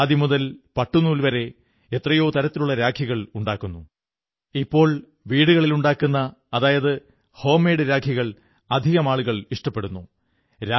ഖാദിമുതൽ പട്ടുനൂൽ പരെ എത്രയോ തരത്തിലുള്ള രാഖികൾ ഉണ്ടാക്കുന്നു ഇപ്പോൾ വീടുകളിലുണ്ടാക്കുന്ന അതായത് ഹോംമേഡ് രാഖികൾ ഇഷ്ടപ്പെടുന്നവരാണേറെയും